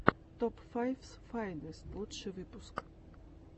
топ файфс файнест лучший выпуск